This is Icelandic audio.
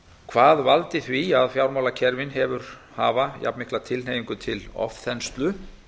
hvað valdi því að fjármálakerfin hafa jafnmikla tilhneigingu til ofþenslu